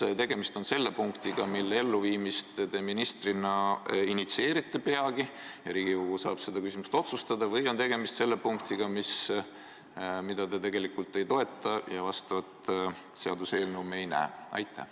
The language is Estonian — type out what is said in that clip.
Kas tegemist on punktiga, mille elluviimist te ministrina peagi initsieerite, ja Riigikogu saab seda küsimust otsustada, või on tegemist selle punktiga, mida te tegelikult ei toeta, ja me selle kohta seaduseelnõu ei näe?